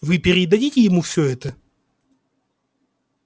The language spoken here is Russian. вы передадите ему все это